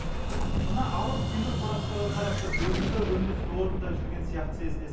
мына алып темір қораптарға қарап тұрып өзіңді өндіріс орнында жүрген сияқты сезінесің